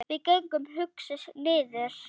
Við gengum hugsi niður